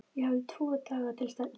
Ég hafði tvo daga til stefnu.